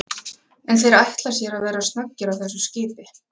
En þeir ætla sér að vera snöggir á þessu skipi?